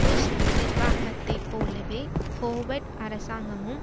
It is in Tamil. புஷ் நிர்வாகத்தை போலவே ஹோவர்ட் அரசாங்கமும்